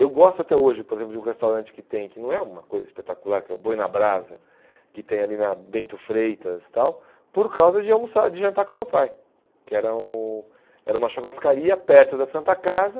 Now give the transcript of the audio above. Eu gosto até hoje, por exemplo, de um restaurante que tem, que não é uma coisa espetacular, que é o Boi na Brasa, que tem ali na Bento Freitas e tal, por causa de almoçar de jantar com o meu pai, que era um era uma churrascaria perto da Santa Casa.